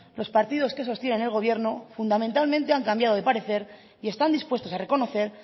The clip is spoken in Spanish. los partidos que sostienen el gobierno fundamentalmente han cambiado de parecer y están dispuestos a reconocer